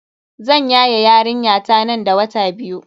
Zan yaye yarinyata nan da wata biyu.